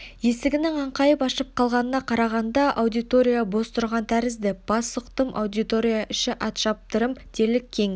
есігінің аңқайып ашық қалғанына қарағанда аудитория бос тұрған тәрізді бас сұқтым аудитория іші атшаптырым дерлік кең